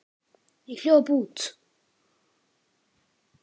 Ég hljóp út.